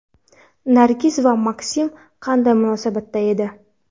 Nargiz va Maksim qanday munosabatda edi?